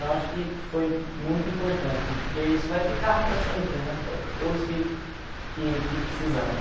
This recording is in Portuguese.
Eu acho que que foi muito importante, porque isso vai ficar para sempre, né, para todos que que que precisarem.